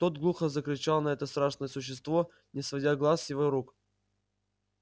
тот глухо зарычал на это страшное существо не сводя глаз с его рук